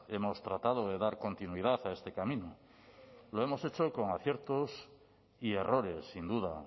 hemos tratado de dar continuidad a este camino lo hemos hecho con aciertos y errores sin duda